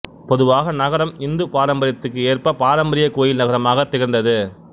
பொதுவாக நகரம் இந்துப் பாரம்பரியத்துக்கு ஏற்ப பாரம்பரிய கோயில் நகரமாகத் திகழ்ந்தது